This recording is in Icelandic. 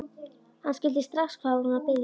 Hann skildi strax hvað hún var að biðja um.